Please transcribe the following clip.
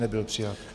Nebyl přijat.